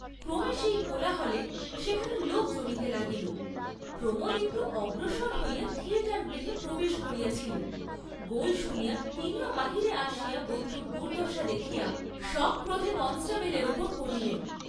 ক্রমে সেই কোলাহলে সেখানে লোক জমিতে লাগিল, প্রমোদ একটু অগ্রসর হইয়া থিয়েটার গৃহে প্রবেশ করিয়াছিলেন গোল শুনিয়া তিনিও বাহিরে আসিয়া বন্ধুর দুর্দ্দশা দেখিয়া, সক্রোধে কনষ্টেবলের উপর পড়িলেন।